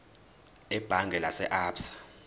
ebhange lase absa